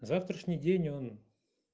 завтрашний день он